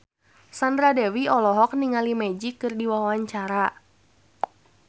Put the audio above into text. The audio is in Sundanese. Sandra Dewi olohok ningali Magic keur diwawancara